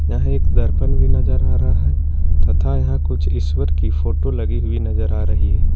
यह एक दर्पण भी नजर आ रहा है तथा यहां कुछ ईश्वर की फोटो लगी हुई नजर आ रही है।